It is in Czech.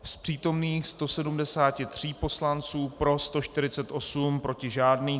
Z přítomných 173 poslanců pro 148, proti žádný.